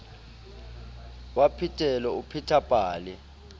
wa phetelo o pheta pale